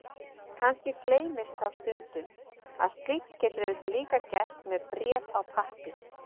Kannski gleymist þá stundum að slíkt getur auðvitað líka gerst með bréf á pappír.